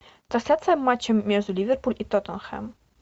трансляция матча между ливерпуль и тоттенхэм